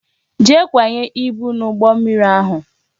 Jee kwanye ibu n'ụgbọ mmiri ahụ